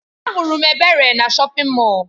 Ahụrụ m Ebere na shọpin Mọll.